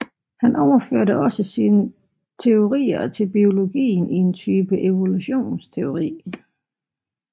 Han overførte også sine teorier til biologien i en type evolutionsteori